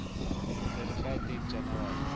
clarify date january